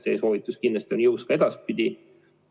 See soovitus kindlasti on jõus ka edaspidi.